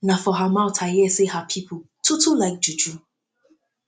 na for her mouth i hear sey her pipu too too like juju